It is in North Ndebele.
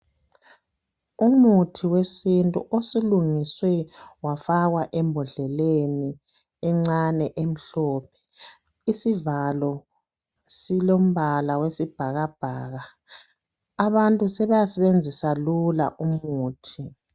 Umuthi wesintu osulungiswe wafakwa embodleleni encane emhlophe, isivalo silombala wesibhakabhaka. Abantu sebeyasebenzisa lula umuthi.